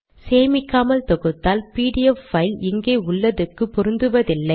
சேமிக்காமல் தொகுத்தால் PDF file இங்கே உள்ளதுக்கு பொருந்துவதில்லை